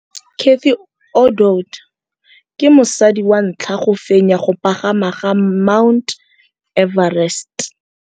Cathy Odowd ke mosadi wa ntlha wa go fenya go pagama ga Mt Everest.